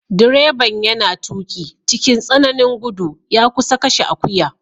Direban yana tuki cikin tsananin gudu ya kusa kashe akuya.